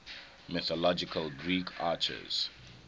mythological greek archers